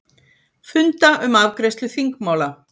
Funda um afgreiðslu þingmála